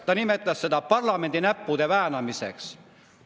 Ta nimetas seda parlamendi näppude väänamiseks.